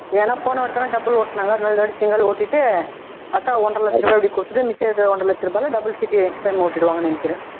ஏன்னா போனவட்டம் double ஓட்டுனாங்க இந்த தரம் single ஓட்டிட்டு பாத்தா ஒன்றரை லட்சம் ரூபாய் அப்படியே குடுத்துட்டு மிச்சம் இருக்கிற ஒன்றரை லட்சம் ரூபாய்ல double chit extra ஓட்டிடுவாங்கன்னு நினைக்கிறேன்